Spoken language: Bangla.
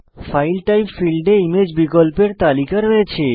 ফাইল টাইপ ফীল্ডে ইমেজ বিকল্পের তালিকা রয়েছে